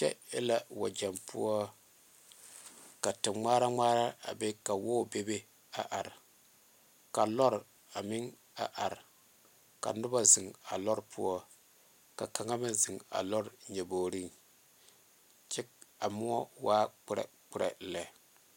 Kyɛ e la weɛgye poɔ ka te ŋmare ŋmare are bebe a are ka lɔɔre are ka noba zeŋe o poɔ ka ba mine zeŋe a lɔɔre nyɔbore kyɛ a mɔ wa kparekpare lɛ.